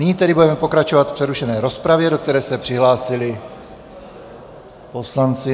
Nyní tedy budeme pokračovat v přerušené rozpravě, do které se přihlásili poslanci...